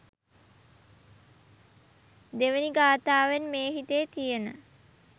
දෙවෙනි ගථාවෙන් මේ හිතේ තියෙන